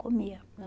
Comia.